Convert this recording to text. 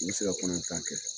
se ka kɔnɔ yɛn tan kɛ